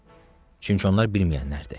Çünki onlar bilməyənlərdir.